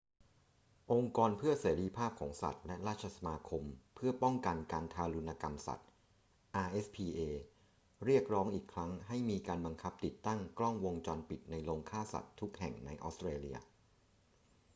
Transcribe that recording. องค์กรเพื่อเสรีภาพของสัตว์และราชสมาคมเพื่อการป้องกันการทารุณกรรมสัตว์ rspa เรียกร้องอีกครั้งให้มีการบังคับติดตั้งกล้องวงจรปิดในโรงฆ่าสัตว์ทุกแห่งในออสเตรเลีย